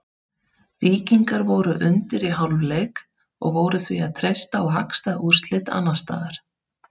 Víkingar voru undir í hálfleik og voru því að treysta á hagstæð úrslit annars staðar.